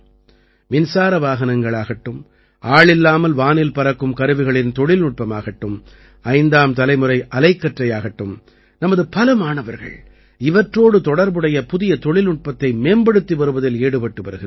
மின்சார வாகனங்களாகட்டும் ஆளில்லாமல் வானில் பறக்கும் கருவிகளின் தொழில்நுட்பமாகட்டும் ஐந்தாம் தலைமுறை அலகற்றையாகட்டும் நமது பல மாணவர்கள் இவற்றோடு தொடர்புடைய புதிய தொழில்நுட்பத்தை மேம்படுத்தி வருவதில் ஈடுபட்டு வருகிறார்கள்